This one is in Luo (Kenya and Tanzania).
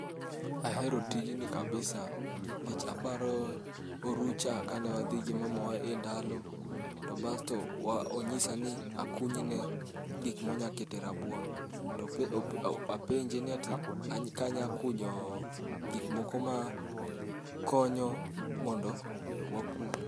Ahero tijni kabisa. Nikech aparo orucha kane wadhi gi mamawa e ndalo, to bas to onyisa ni akuny ne gik monyalo kete rabuon. To apenje ati ka anyalo kunyo gik moko ma konyo mondo wapur.